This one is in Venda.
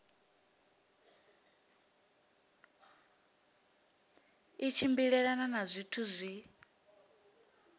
i tshimbilelana na zwithu zwi